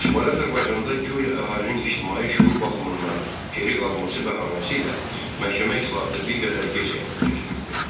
Şimali Azərbaycanda guya əhalinin ictimai şüur baxımından geri qalması bəhanəsi ilə məhkəmə islahatı bir qədər gec həyata keçirildi.